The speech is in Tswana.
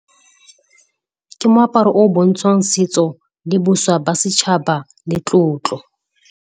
Ke moaparo o o bontshang setso, diboswa ba setšhaba le tlotlo.